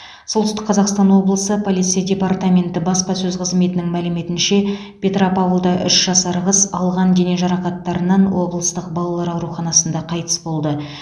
солтүстік қазақстан облысы полиция департаменті баспасөз қызметінің мәліметінше петропавлда үш жасар қыз алған дене жарақаттарынан облыстық балалар ауруханасында қайтыс болды